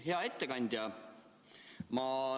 Hea ettekandja!